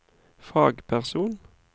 fagperson